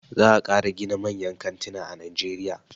Za a ƙara gina manyan kantina a najeriya.